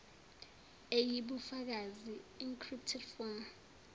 eyibufakazi encrypted form